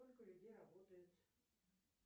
сколько людей работает